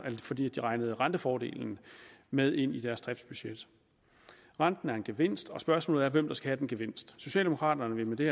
fordi de regnede rentefordelen med ind i deres driftsbudget renten er en gevinst og spørgsmålet er hvem der skal have den gevinst socialdemokraterne vil med det